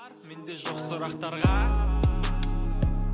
менде жоқ сұрақтарға